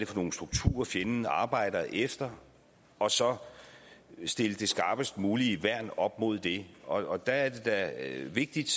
for nogle strukturer fjenden arbejder efter og så stille det skarpest mulige værn op mod det og der er det da vigtigt